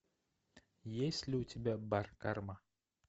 есть ли у тебя бар карма